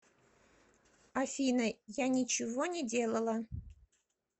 афина я ничего не делала